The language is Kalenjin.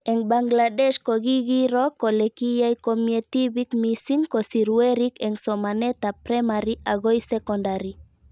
Eng' Bangladesh ko kikiro kole kiyai komie tipik mising' kosir werik eng' somanet ab primary akoi sekondari